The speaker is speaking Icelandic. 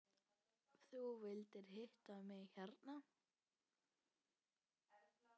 Þú vildir hitta mig herra?